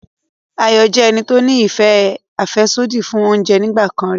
Ayọ̀ jẹ́ ẹni tó ní ìfẹ́ àfẹ́sódì fún oúnjẹ nígbà kan rí